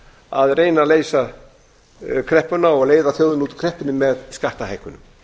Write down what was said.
að reyna að leysa kreppuna og leiða þjóðina út úr kreppunni með skattahækkunum